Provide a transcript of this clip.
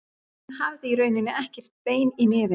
Hún hafði í rauninni ekkert bein í nefinu.